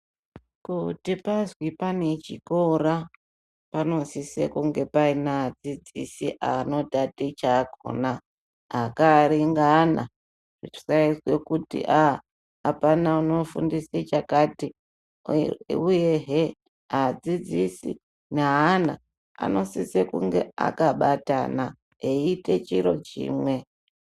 Kuti pazwi pane chikora panosisa kunge paina adzidzisi anotaticha akona akaringana kusaizwe kuti aaa apana unofundise chakati uyehe adzidzisi neana anosise kunge akabatana eiite chiro chimwe.